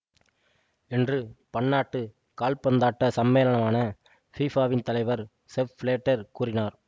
என்று பன்னாட்டு கால்பந்தாட்ட சம்மேளனான ஃபிஃபாவின் தலைவர் செப் பிளேட்டர் கூறினார்